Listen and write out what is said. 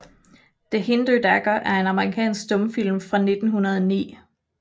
The Hindoo Dagger er en amerikansk stumfilm fra 1909 af D